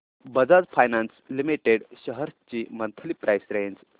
Bajaj finance limited shares ची monthly price range